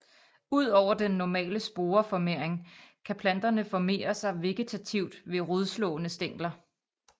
Ud over den normale sporeformering kan planterne formere sig vegetativt ved rodslående stængler